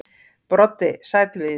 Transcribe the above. Broddi: Sæll Víðir.